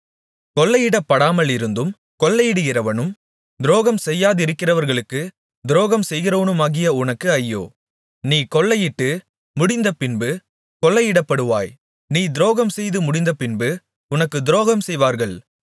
கொள்ளையிடப்படாமலிருந்தும் கொள்ளையிடுகிறவனும் துரோகம் செய்யாதிருக்கிறவர்களுக்குத் துரோகம் செய்கிறவனுமாகிய உனக்கு ஐயோ நீ கொள்ளையிட்டு முடிந்தபின்பு கொள்ளையிடப்படுவாய் நீ துரோகம் செய்துமுடிந்தபின்பு உனக்குத் துரோகம்செய்வார்கள்